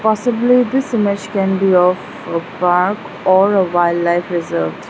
Possibly this image can be of a park or a wildlife reserve.